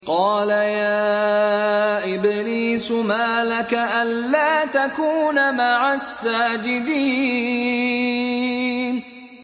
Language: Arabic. قَالَ يَا إِبْلِيسُ مَا لَكَ أَلَّا تَكُونَ مَعَ السَّاجِدِينَ